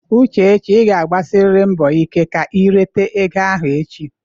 Uchechi ị ga-agbasiriri mbọ ike ka i rite ego ahụ echi!